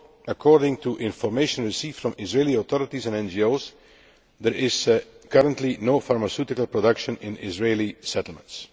According to information received from Israeli authorities and NGOs, there is currently no pharmaceutical production in Israeli settlements.